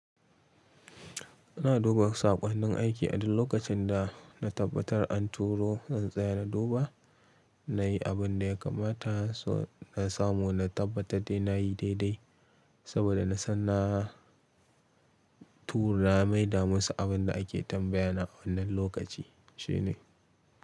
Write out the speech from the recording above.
Ina duba sakon nin aiki a duk lokacin da na tabbatar an turo, zan tsaya na duba, na yi abin da ya kamata, so na samu na tabbatar da na yi daidai saboda na san na tura maida musu abin da ake tambaya na wannan lokaci shine.